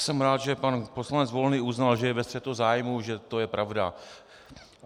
Jsem rád, že pan poslanec Volný uznal, že je ve střetu zájmů, že to je pravda.